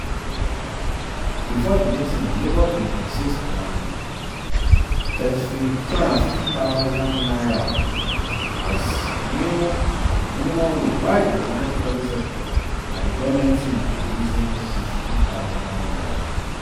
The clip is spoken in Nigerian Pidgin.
bifor di meeting labour bin insist on n250000 um as new um minimum wage while di organised private sector and di goment team dey reason n62000.